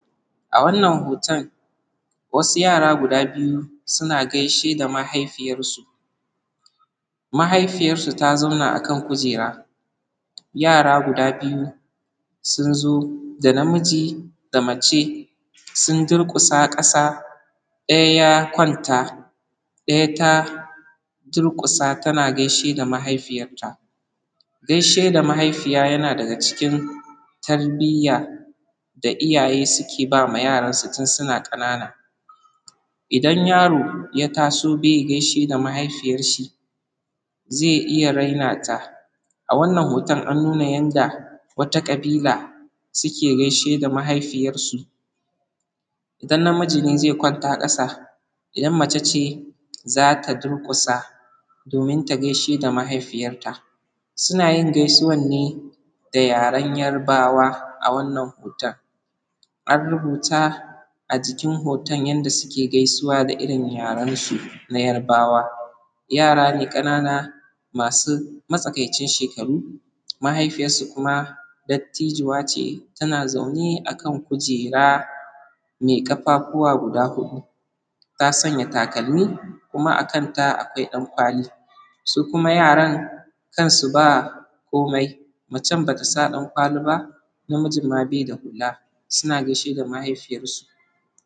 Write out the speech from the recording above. A wannan hoton, wasu yara guda biyu, suna gaishe da mahaifiyarsu. Mahaifiyarsu ta zauna akan kujera, yara guda biyu, sun zo. Da namiji da mace. Sun durƙusa ƙasa. Daya ya kwanta, daya ta durƙusa tana gaishe da mahaifiyarta. Gaishe da mahaifiya yana daga cikin tarbiyya. Idan yaro ya taso be gaishe da mahaifiyarshi. Zai iya raina ta. A wannan hoton an nuna yanda wata ƙabila suke gaishe da mahaifiyarsu. idan na miji ne zai kwanta ƙasa. idan mace ce zata durƙusa domin ta gaishe da mahaifiyarta. Sunayin gaisuwan ne da yaren yarbawa awannan hoton. An rubuta ajikin hoton, yanda suke gaisuwa da irin yarensu na yarbawa. Yarane ƙanana masu matsakaicin shekaru. Mahaifiyarsu kuma dattijuwace. tana zaune a kan kujera. me ƙafafuwa guda hudu. Ta sanya takalmi kuma akanta akwai dan kwali. Sukuma yaran, kansu ba komai. Macen batasa dan kwali ba. namijin ma be da hula, suna gaishe da mahaifiyarsu.